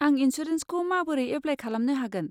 आं इन्सुरेन्सखौ माबोरै एप्लाय खालामनो हागोन?